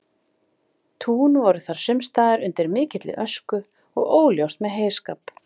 tún voru þar sumstaðar undir mikilli ösku og óljóst með heyskap